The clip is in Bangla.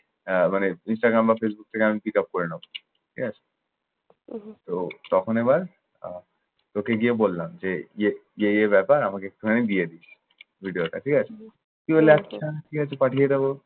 আহ মানে ইনস্টাগ্রাম বা ফেসবুক থেকে আমি pick up করে নেব। ঠিক আছে? তো তখন এবার আহ তোকে গিয়ে বললাম যে, ইয়ে এই এই ব্যাপার আমাকে একটুখানি দিয়ে দিস। ভিডিওটা। ঠিক আছে। তুই বললি, আচ্ছা। ঠিক আছে পাঠিয়ে দেব।